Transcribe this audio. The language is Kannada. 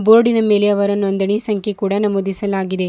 ಬೋರ್ಡ್ ನ ಮೇಲೆ ಅವರ ನೋಂದಣಿ ಸಂಖ್ಯೆಯನ್ನು ನಮೂದಿಸಲಾಗಿದೆ.